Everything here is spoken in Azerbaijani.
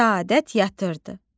Səadət yatırdı.